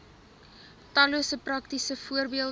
tallose praktiese voorbeelde